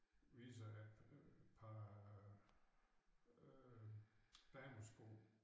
Viser et par øh damesko